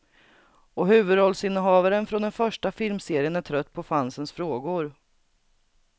Och huvudrollsinnehavaren från den första filmserien är trött på fansens frågor.